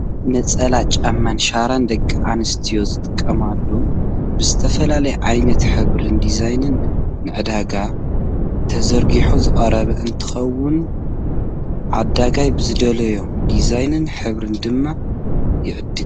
ነፀላ ጫማን ሻራን ደቂ ኣንስትዮ ዝጥቀማሉ ብዝተፈላለዩ ዓይነታትን ሕብርን ዲዛይንን ንዕዳጋ ተዘሪጊሑ ዝቀረበ እንትከውን ዓዳጋይ ብዝደለዮ ዲዛይንን ሕብርን ድማ ይዕድግ።